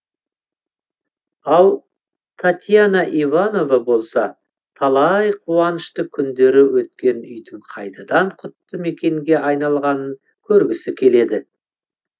ал татьяна иванова болса талай қуанышты күндері өткен үйдің қайтадан құтты мекенге айналғанын көргісі келеді